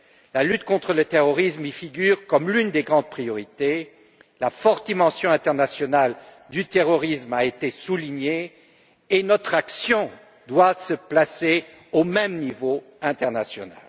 La lutte contre le terrorisme y figure comme l'une des grandes priorités, la forte dimension internationale du terrorisme a été soulignée et notre action doit se placer au même niveau international.